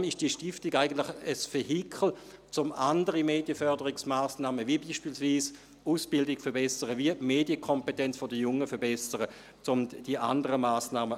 Deshalb ist diese Stiftung eigentlich ein Vehikel, um andere Medienförderungsmassnahmen, wie beispielsweise das Verbessern der Ausbildung und der Medienkompetenz der Jungen anzugehen.